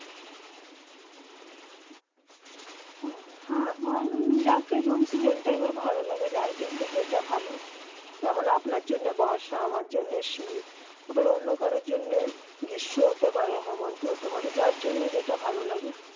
হাঁ যাকে জন সেবাসং তা এ বার ভালো লাগে যার জন্য যেটা ভালো যেমন আপনার জন্য বর্ষা আমার জন্য শীত আবার অন্য কারো জন্য গ্রীস্ম হতে পারে হেমন্ত হতে পারে যার যেটা ভালো লাগে